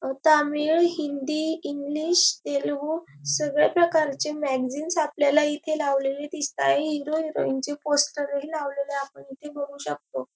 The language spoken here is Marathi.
अ तामीळ हिन्दी इंग्लिश तेलगू सगळ्या प्रकारचे मॅगझीनस् आपल्याला इथे लावलेले दिसताय हीरो हिरोईन चे पोस्टर ही लावलेले आपण इथे बघू शकतो.